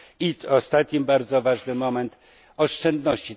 I ostatni bardzo ważny aspekt oszczędności.